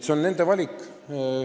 See on nende valik.